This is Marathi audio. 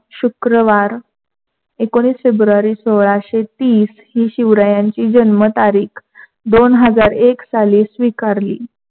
शुक्रवार एकोनावीस फेब्रुवारी सोलाशेतीस हि शिवरायांची जन्म तारीख दोन हजार एक साली स्वीकारली.